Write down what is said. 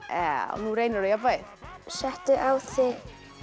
nú reynir á jafnvægið settu á þig